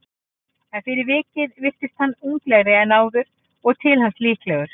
En fyrir vikið virðist hann unglegri en áður og til alls líklegur.